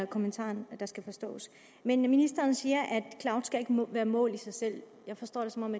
kommentaren skal forstås ministeren siger at mål i sig selv jeg forstår det som om